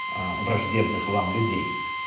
аа враждебных вам людей